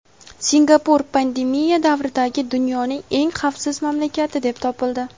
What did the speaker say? Singapur pandemiya davridagi dunyoning eng xavfsiz mamlakati deb topildi.